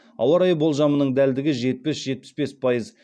ауа райы болжамының дәлдігі жетпіс жетпіс бес пайыз